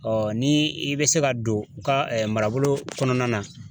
ni i bɛ se ka don u ka marabolo kɔnɔna na.